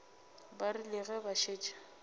ba rile ge ba šetše